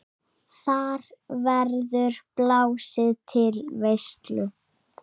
Þar verður blásið til veislu.